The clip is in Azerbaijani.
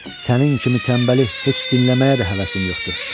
Sənin kimi tənbəli heç dinləməyə də həvəsim yoxdur!"